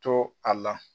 To a la